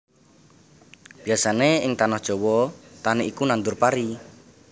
Biyasané ing tanah Jawa tani iku nandhur pari